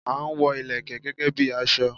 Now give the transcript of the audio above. A n wo Ìlẹ̀kẹ̀ gẹ́gẹ́ bi aso